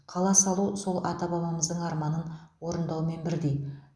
қала салу сол ата бабамыздың арманын орындаумен бірдей